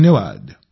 धन्यवाद